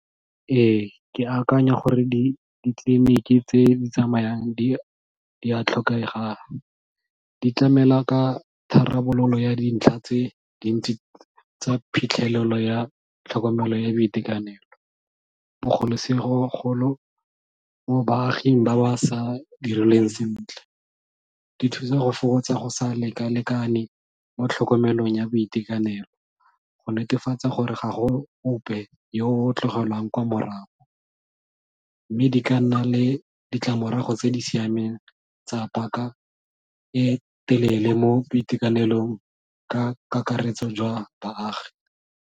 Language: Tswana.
Ee, ke akanya gore ditleliniki tse di tsamayang di a tlhokega, di tlamela ka tharabololo ya dintlha tse dintsi tsa phitlhelelo ya tlhokomelo ya boitekanelo, bogolosegolo mo baaging ba ba sa direlweng sentle. Di thusa go fokotsa go sa lekalekane mo tlhokomelong ya boitekanelo, go netefatsa gore ga go ope yo tlogelwang kwa morago, mme di ka nna le ditlamorago tse di siameng tsa paka e telele mo boitekanelong ka kakaretso jwa baagi.